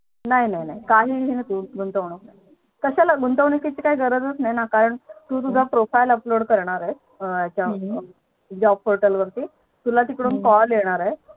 नाही नाहीं नाही काहीच नाही गुंतवणूक. कश्याला गुंतवणुकीची काही गरजच नाही ना कारण तू तुझं Profile upload करणार आहे Job portal वरती तुला तीकडून Call येणार आहे